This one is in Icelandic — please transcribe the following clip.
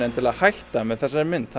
endilega hætta með þessari mynd